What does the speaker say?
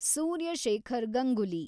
Surya Shekhar Ganguly